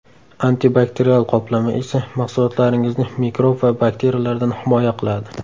Antibakterial qoplama esa mahsulotlaringizni mikrob va bakteriyalardan himoya qiladi.